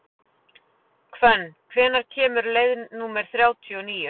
Hvönn, hvenær kemur leið númer þrjátíu og níu?